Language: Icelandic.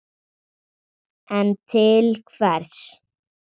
En til hvers?